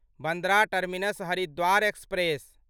Bandra terminus Haridwar express